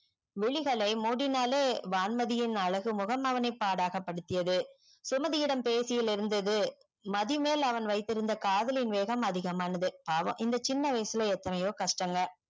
விழிகளை முடினாலே வான்மதியின் அழகு முகம் அவனை பாடகபடுத்தியது சுமதியிடம் பேசியில் இருந்தது மதி மேல் அவன் வைத்திருந்த காதலின் வேகம் அதிகமானது பாவம் இந்த சின்ன வயசுள்ள எத்தொனையோ கஷ்டங்கள்